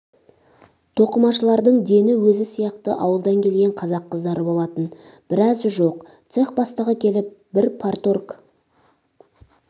тоқымашылардың дені өзі сияқты ауылдан келген қазақ қыздары болатын біразы жоқ цех бастығы келіп бір парторг